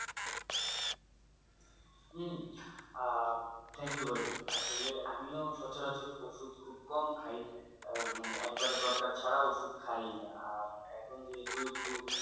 um ah thank you ভাই আসলে আমিও সচর অচর ওষুধ খুব কম খাই আহ মানে একবার দরকার ছাড়া ওষুধ খায়ই না আর এখন যেহেতু একটু